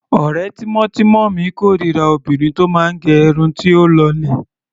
Ọ̀rẹ́ tímọ́tímọ́ mi kórira obìnrin tó máa gẹ irun tí ó lọlẹ̀.